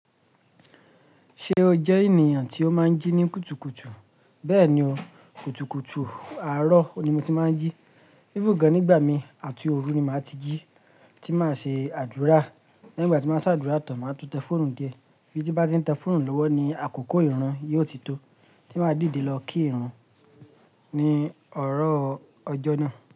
Ṣé o jẹ ènìyàn tí ó máa ń jí ní kùtùkùtù? Bẹ́ẹ̀ni o, kùtùkùtù àárọ̀ ni mo ti máa ń jí. Even gan nígbà mi àti òru ni màá ti jí tí màá ṣe àdúrà. Nígbà tí màá ṣe àdúrà tàn, màá tú tẹ fóònù dié, ibí tí mbá ti ń tẹ fọ́ònù lọ́wọ́ ni àkókò ìrun yìí ó ti tó, tí màá dìde lọ kí ìrun ní òrò ọjọ́ náà.